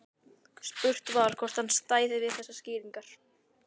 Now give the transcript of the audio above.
Spurt var, hvort hann stæði við þessar skýringar?